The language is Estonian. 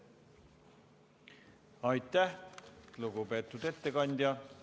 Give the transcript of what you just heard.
Aitäh, lugupeetud ettekandja!